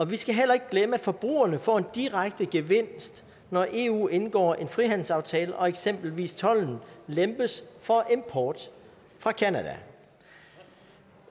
vi skal heller ikke glemme at forbrugerne får en direkte gevinst når eu indgår en frihandelsaftale og eksempelvis tolden lempes for import fra canada